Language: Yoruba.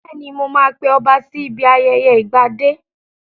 Bẹ́ẹ̀ni, mo ma pe ọba sí ibi ayẹyẹ ìgbadé